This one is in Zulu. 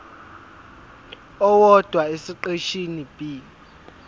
owodwa esiqeshini b